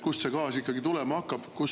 Kust see gaas ikkagi tulema hakkab?